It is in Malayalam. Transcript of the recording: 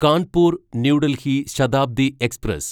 Kanpur new Delhi Shatabdi express